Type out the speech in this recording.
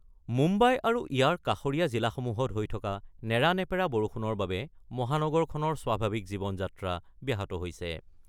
মুম্বাই আৰু ইয়াৰ কাষৰীয়া জিলাসমূহত হৈ থকা নেৰানেপেৰা বৰষুণৰ বাবে মহানগৰখনৰ স্বাভাৱিক জীৱন যাত্ৰা ব্যাহত হৈছে।